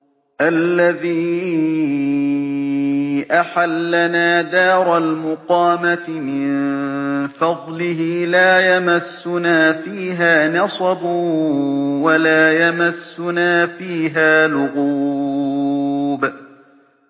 الَّذِي أَحَلَّنَا دَارَ الْمُقَامَةِ مِن فَضْلِهِ لَا يَمَسُّنَا فِيهَا نَصَبٌ وَلَا يَمَسُّنَا فِيهَا لُغُوبٌ